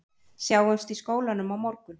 Sjáumst í skólanum á morgun